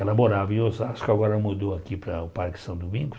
Ela morava em Osasco, agora mudou aqui para o Parque São Domingos.